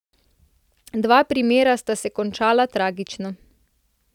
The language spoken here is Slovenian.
Dva primera sta se končala tragično.